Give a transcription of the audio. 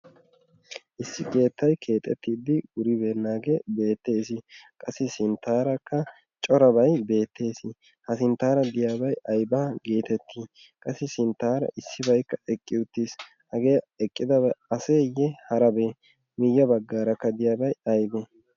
issi geettay keexettiiddi wuribee naagee beettees qassi sinttaarakka corabay beettees ha sinttaara diyaabay ayba geetettii qassi sinttaara issibaikka eqqi uttiis hagee eqqidabi aseeyye harabee miiyya baggaarakka diyaabay aybe